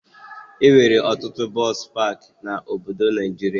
Enwere ọtụtụ bọsụ pakị na obodo Naijiria